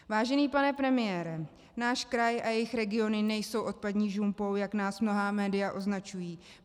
Vážený pane premiére, náš kraj a jeho regiony nejsou odpadní žumpou, jak nás mnohá média označují.